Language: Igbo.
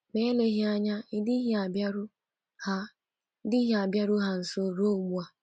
Ma eleghị anya ị dịghị abịaru ha dịghị abịaru ha nso ruo ugbu a.